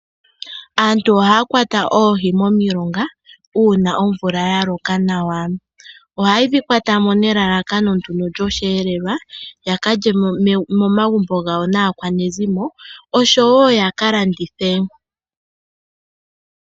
Aantu ohaya kwata oohi momilonga uuna omvula ya loka nawa. Oha ye dhi kwata mo nelalakano lyosheelelwa ya ka lye momagumbo gawo naakwanezimo yawo osho wo ya ka landithe.